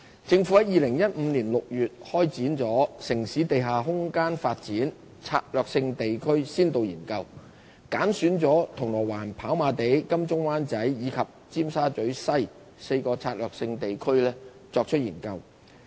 政府於2015年6月開展"城市地下空間發展：策略性地區先導研究"，揀選了銅鑼灣、跑馬地、金鐘/灣仔及尖沙咀西4個策略性地區作研究。